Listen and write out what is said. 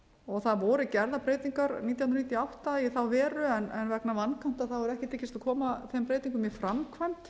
þjóðfánanum það voru gerðar breytingar nítján hundruð níutíu og átta í þá veru en vegna vankanta hefur ekki tekist að koma þeim breytingum í framkvæmd